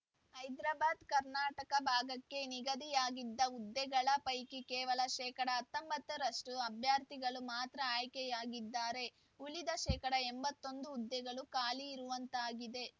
ಹೈಕ ಭಾಗಕ್ಕೆ ನಿಗದಿಯಾಗಿದ್ದ ಹುದ್ದೆಗಳ ಪೈಕಿ ಕೇವಲ ಶೇಕಡಾ ಹತ್ತೊಂಬತ್ತು ರಷ್ಟುಅಭ್ಯರ್ಥಿಗಳು ಮಾತ್ರ ಆಯ್ಕೆಯಾಗಿದ್ದಾರೆ ಉಳಿದ ಶೇಕಡಾ ಎಂಬತ್ತೊಂದು ಹುದ್ದೆಗಳು ಖಾಲಿ ಇರುವಂತಾಗಿದೆ